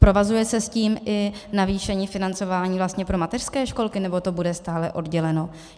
Provazuje se s tím i navýšení financování vlastně pro mateřské školky, nebo to bude stále odděleno?